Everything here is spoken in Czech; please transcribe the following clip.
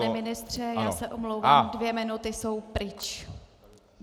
Pane ministře, já se omlouvám, dvě minuty jsou pryč.